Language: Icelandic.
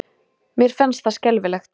Mér fannst það skelfilegt.